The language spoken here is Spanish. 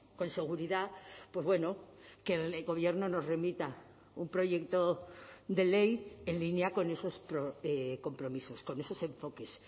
con seguridad pues bueno que el gobierno nos remita un proyecto de ley en línea con esos compromisos con esos enfoques